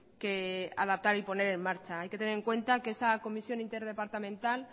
que adaptar y poner en marcha hay que tener en cuenta que esa comisión interdepartamental